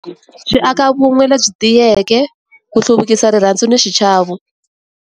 Swi aka vun'we lebyi tiyeke ku hluvukisa rirhandzu ni xichavo.